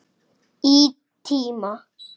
Í tíma.